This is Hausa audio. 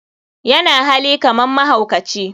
yana hali kaman mahaukaci.